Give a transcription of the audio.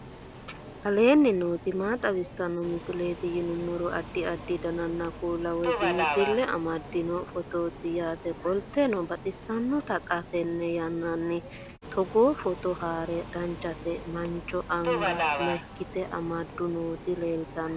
aleenni nooti maa xawisanno misileeti yinummoro addi addi dananna kuula woy biinfille amaddino footooti yaate qoltenno baxissannote xa tenne yannanni togoo footo haara danchate mancho anga mayke amadde nooti leltanno